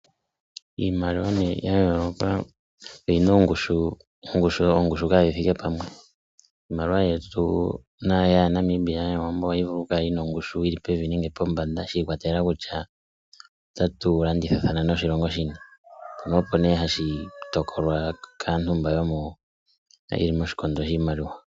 Iimaliwa ne ya yoloka oyina ongushu kadhi thike pamwe. Iimaliwa yetu yaNamibia ohayi vulu oku kala yi na ongushu yili pevi nenge pombanda shi ikwatelela kutya ota tu landithathana noshilongo shini, mpono opo ne hashi tokolwa kaantu mba ye li ko shikondo shiimaliwa